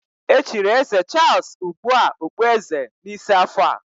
Echiri eze Charles ugbu a okpueze n'isi afọ a.